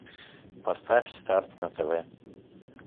поставь старт на тв